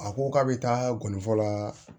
A ko k'a bɛ taa gɔni fɔlɔ la